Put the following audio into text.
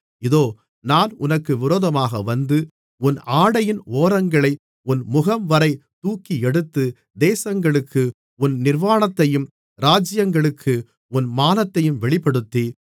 இதோ நான் உனக்கு விரோதமாக வந்து உன் ஆடையின் ஓரங்களை உன் முகம்வரை தூக்கியெடுத்து தேசங்களுக்கு உன் நிர்வாணத்தையும் இராஜ்யங்களுக்கு உன் மானத்தையும் வெளிப்படுத்தி